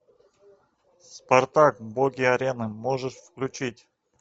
спартак боги арены можешь включить